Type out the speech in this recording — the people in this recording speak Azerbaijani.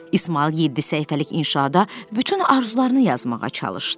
İsmayıl yeddi səhifəlik inşada bütün arzularını yazmağa çalışdı.